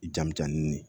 Jamu jan n ye